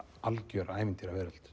algjör